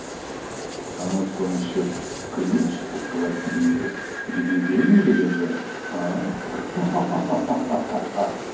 а может вам ещё ключ от квартиры где деньги лежат а ха-ха